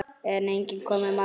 En ekki kom markið.